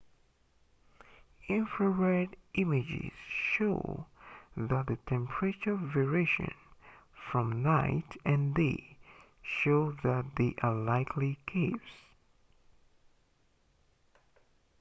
infrared images show that the temperature variations from night and day show that they are likely caves